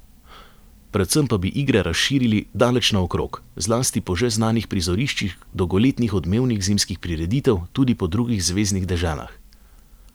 Predvsem pa bi igre razširili daleč naokrog, zlasti po že znanih prizoriščih dolgoletnih odmevnih zimskih prireditev, tudi po drugih zveznih deželah.